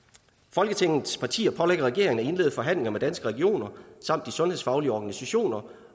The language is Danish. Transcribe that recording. folketingets partier pålægger regeringen at indlede forhandlinger med danske regioner og de sundhedsfaglige organisationer